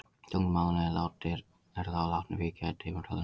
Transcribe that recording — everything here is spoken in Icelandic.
Tunglmánuðirnir eru þá látnir víkja í tímatalinu.